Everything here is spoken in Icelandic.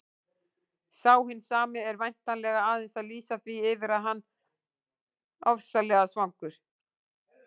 Sá hinn sami er væntanlega aðeins að lýsa því yfir að hann ofsalega svangur.